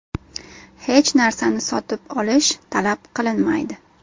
Hech narsani sotib olish talab qilinmaydi.